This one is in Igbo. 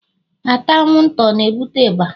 ata anwụnta ọ na-ebute ịba?